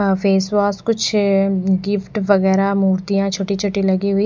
आ face wash कुछ है gift वगेराह मूर्तियाँ छोटी छोटी लगी हुईं--